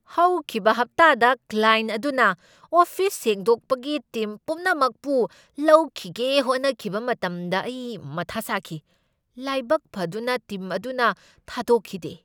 ꯍꯧꯈꯤꯕ ꯍꯞꯇꯥꯗ ꯀ꯭ꯂꯥꯏꯦꯟꯠ ꯑꯗꯨꯅ ꯑꯣꯐꯤꯁ ꯁꯦꯡꯗꯣꯛꯄꯒꯤ ꯇꯤꯝ ꯄꯨꯝꯅꯃꯛꯄꯨ ꯂꯧꯈꯤꯒꯦ ꯍꯣꯠꯅꯈꯤꯕ ꯃꯇꯝꯗ ꯑꯩ ꯃꯊꯥ ꯁꯥꯈꯤ ꯫ ꯂꯥꯏꯕꯛ ꯐꯗꯨꯅ ꯇꯤꯝ ꯑꯗꯨꯅ ꯊꯥꯗꯣꯛꯈꯤꯗꯦ ꯫